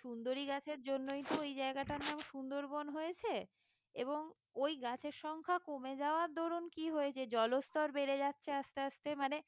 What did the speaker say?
সুন্দরী গাছের জন্যই তো ওই জায়গাটার নাম সুন্দরবন হয়েছে এবং ওই গাছের সংখ্যা কমে যাওয়ার দরন কি হয়েছে জলস্থর বেড়ে যাচ্ছে আস্তে আস্তে মানে